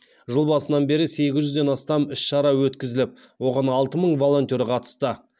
жыл басынан бері сегіз жүзден астам іс шара өткізіліп оған алты мың волонтер қатысты